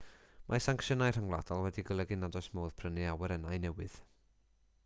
mae sancsiynau rhyngwladol wedi golygu nad oes modd prynu awyrennau newydd